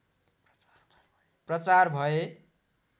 प्रचार भए